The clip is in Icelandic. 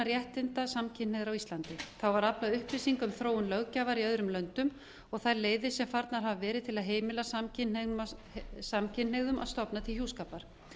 réttinda samkynhneigðra á íslandi þá var aflað upplýsinga um þróun löggjafar í öðrum landi og þær leiðir sem farnar hafa verið til að heimila samkynhneigðum að stofna til hjúskapar